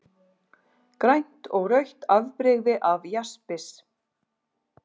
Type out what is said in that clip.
Grænt og rautt afbrigði af jaspis.